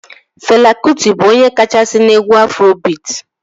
Fela Kụti bụ onye kachasị n'egwu Afrobiit